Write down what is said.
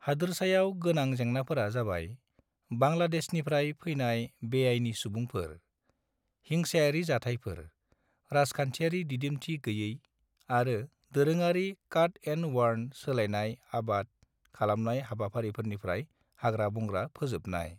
हादोरसायाव गोनां जेंनाफोरा जाबाय बांलादेशनिफ्राय फैनाय बेआइनि सुबुंफोर, हिंसायारि जाथायफोर, राजखान्थियारि दिदोमथि गैयै आरो दोरोङारि काट-एन्ड-बार्न सोलायनाय आबाद खालामनाय हाबाफारिफोरनिफ्राय हाग्रा-बंग्रा फोजोबनाय।